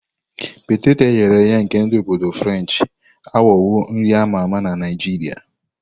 Peteto eghere eghe nke ndi obodo Frenchi aghọwo nri a ma ama na Naijiria.